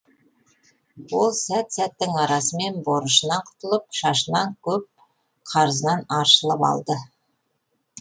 ол сәт сәттің арасымен борышынан құтылып шашынан көп қарызынан аршылып алды